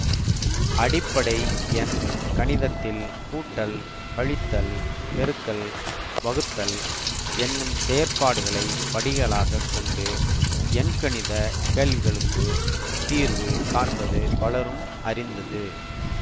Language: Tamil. அடிப்படை எண் கணிதத்தில் கூட்டல் கழித்தல் பெருக்கல் வகுத்தல் என்னும் செயற்பாடுகளை படிகளாகக் கொண்டு எண்கணித கேள்விகளுக்குத் தீர்வு காண்பது பலரும் அறிந்தது